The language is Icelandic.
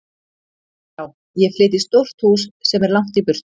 Já, ég flyt í stórt hús sem er langt í burtu.